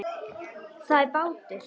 Það er bátur.